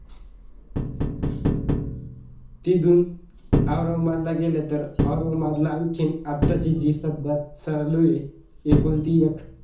तिथून औरगाबादला गेले तर औरंगाबादला आणखीन आत्ताची जी सध्या चालूये एकुलती एक.